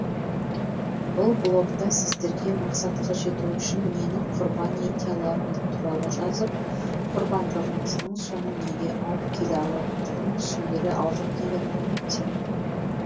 бұл блогта сіздерге мақсатқа жету үшін нені құрбан ете алатының туралы жазып құрбандығыңыздың соңы неге алып келе алатындығын түсіндіре алдым деген үміттемін